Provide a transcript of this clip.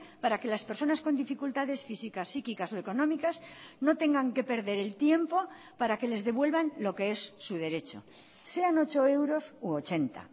para que las personas con dificultades físicas psíquicas o económicas no tengan que perder el tiempo para que les devuelvan lo que es su derecho sean ocho euros u ochenta